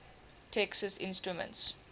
texas instruments